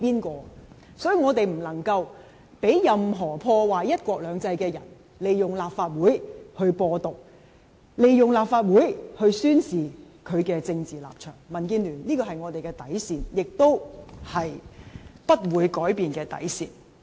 因此，我們不能讓任何破壞"一國兩制"的人，利用立法會來"播獨"，利用立法會來宣示他的政治立場，這是民建聯的底線，是不會改變的底線。